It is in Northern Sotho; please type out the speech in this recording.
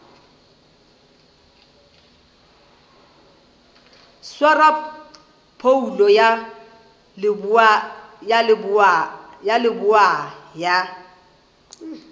swara phoulo ya leboa ya